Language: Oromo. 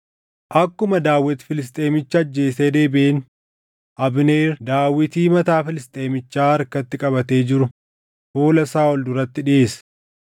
Akkuma Daawit Filisxeemicha ajjeesee deebiʼeen, Abneer Daawitii mataa Filisxeemichaa harkatti qabatee jiru fuula Saaʼol duratti dhiʼeesse.